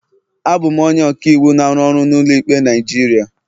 Abụ m onye ọka iwu na-arụ ọrụ n'ụlọ ikpe Naijiria.